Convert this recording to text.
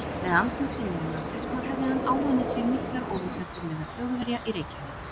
Með andúð sinni á nasisma hefði hann áunnið sér miklar óvinsældir meðal Þjóðverja í Reykjavík.